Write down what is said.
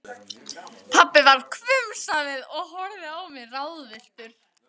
Pabbi varð hvumsa við og horfði á mig ráðvilltur.